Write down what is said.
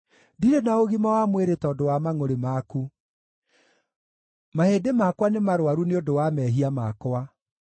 Ndirĩ na ũgima wa mwĩrĩ tondũ wa mangʼũrĩ maku; mahĩndĩ makwa nĩmarũaru nĩ ũndũ wa mehia makwa.